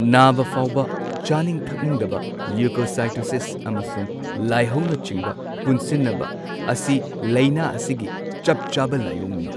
ꯅꯥꯕ ꯐꯥꯎꯕ, ꯆꯥꯅꯤꯡ ꯊꯛꯅꯤꯡꯗꯕ, ꯂ꯭ꯌꯨꯀꯣꯁꯥꯏꯇꯣꯁꯤꯁ ꯑꯃꯁꯨꯡ ꯂꯥꯏꯍꯧꯅꯆꯤꯡꯕ ꯄꯨꯟꯁꯤꯟꯅꯕ ꯑꯁꯤ ꯂꯩꯅ ꯑꯁꯤꯒꯤ ꯆꯞ ꯆꯥꯕ ꯂꯥꯏꯑꯣꯡꯅꯤ꯫